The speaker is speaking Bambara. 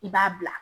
I b'a bila